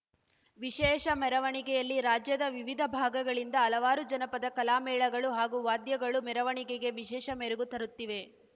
ವಿಶೇಷ ಮೆರವಣಿಗೆಯಲ್ಲಿ ರಾಜ್ಯದ ವಿವಿದ ಭಾಗಗಳಿಂದ ಹಲವಾರು ಜನಪದ ಕಲಾ ಮೇಳಗಳು ಹಾಗೂ ವಾದ್ಯಗಳು ಮೆರವಣಿಗೆಗೆ ವಿಶೇಷ ಮೆರಗು ತರುತ್ತಿವೆ